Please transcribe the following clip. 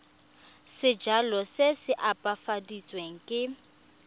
sejalo se se opafaditsweng se